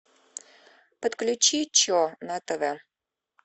подключи че на тв